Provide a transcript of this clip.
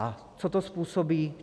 A co to způsobí?